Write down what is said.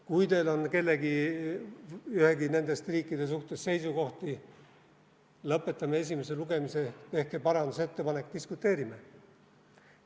Kui teil on nende riikide suhtes seisukohti, lõpetame esimese lugemise, tehke parandusettepanek, diskuteerime.